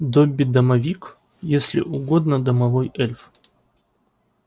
добби-домовик если угодно домовой эльф